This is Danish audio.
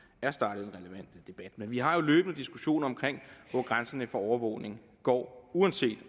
men vi har jo løbende diskussioner om hvor grænserne for overvågning går uanset